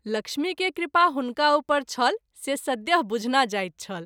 लक्ष्मी के कृपा हुनका उपर छल से सद्य: बुझना जाइत छल।